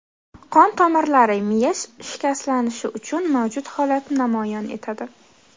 Qon tomirlari, miya shikastlanishi uchun mavjud holatni namoyon etadi.